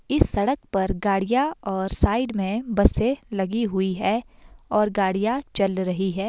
इस सड़क पर गाड़ियां और साइड में बसें लगी हुई है और गाड़ियां चल रही हैं।